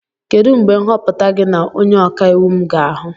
Kedu mgbe nhọpụta gị na onye ọka iwu m ga ahu?